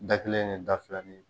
Da kelen ne da fila